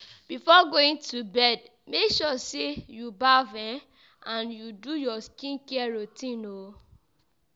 Before going to bed make sure say you baff um and do your skin care routine